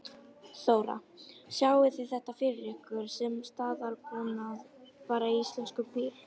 Þóra: Sjáið þið þetta fyrir ykkur sem staðalbúnað bara í íslenskum bílum?